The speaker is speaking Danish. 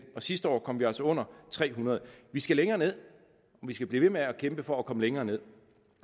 og sidste år kom vi altså under tre hundrede vi skal længere ned vi skal blive ved med at kæmpe for at komme længere ned